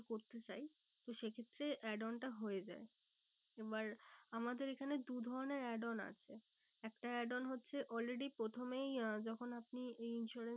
করতে চাই। তো সে ক্ষেত্রে add on টা হয়ে যায়। এবার আমাদের এখানে দু ধরণের add on আছে। একটা add on হচ্ছে already প্রথমেই আহ যখন আপনি এই insurance